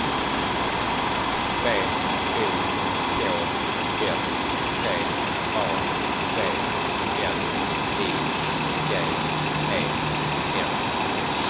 B O K S T A V L I G E N